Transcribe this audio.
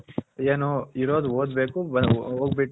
N ಇರಾದ್ ಓದಬೇಕು